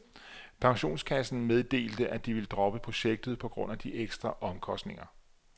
Pensionskassen meddelte, at de ville droppe projektet på grund af de ekstra omkostninger.